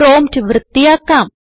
prompt വൃത്തിയാക്കാം